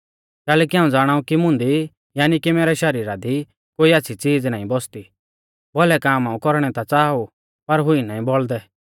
कैलैकि हाऊं ज़ाणाउ कि मुंदी यानी कि मैरै शरीरा दी कोई आच़्छ़ी च़ीज नाईं बौसदी भौलै काम हाऊं कौरणै ता च़ाहा ऊ पर हुई नाईं बौल़दै